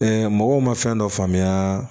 mɔgɔw ma fɛn dɔ faamuya